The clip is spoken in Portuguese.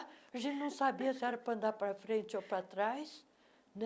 A gente não sabia se era para andar para frente ou para trás. né